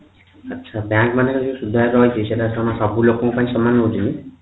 ଆଛା bank ମାନେ ସୁଧହାର ରହିଛି ସେଇଟା କଣ ସବୁ ଲୋକଙ୍କ ପାଇଁ ସମାନ ରହୁଛି କି